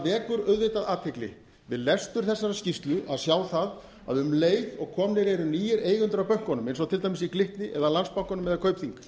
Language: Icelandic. vekur auðvitað athygli við lestur þessarar skýrslu að sjá það að um leið og komnir eru nýir eigendur að bönkunum eins og til dæmis í glitni eða landsbankanum eða kaupþingi